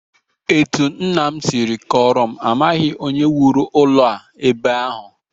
Etu nna m si kọọrọ m, amaghị onye wuru ụlọ a ebe ahụ